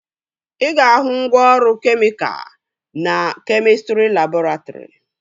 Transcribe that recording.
Ị ga-ahụ ngwaọrụ kemịka na kemịstrị labọretrị